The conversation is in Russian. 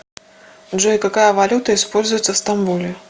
джой какая валюта используется в стамбуле